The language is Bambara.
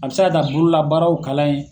A bɛ se ka taa bolola baararaw kalan ye.